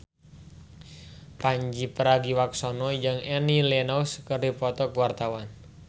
Pandji Pragiwaksono jeung Annie Lenox keur dipoto ku wartawan